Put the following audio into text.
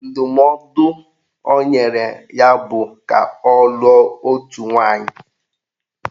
Ndụmọdụ o nyere ya bụ ka ọ lụọ otu nwaanyị